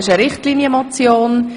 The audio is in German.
» Das ist eine Richtlinienmotion.